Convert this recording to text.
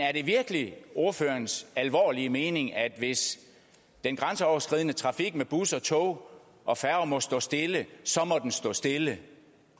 er det virkelig ordførerens alvorlige mening at hvis den grænseoverskridende trafik med busser tog og færger må stå stille så må den stå stille